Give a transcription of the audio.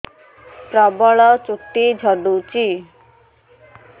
ପ୍ରବଳ ଚୁଟି ଝଡୁଛି